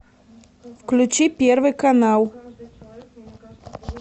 включи первый канал